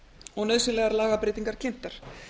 og nauðsynlegar lagabreytingar kynntar